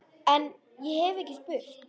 En- ég hef ekki spurt.